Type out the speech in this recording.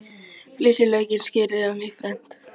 Flysjið laukinn og skerið í fernt.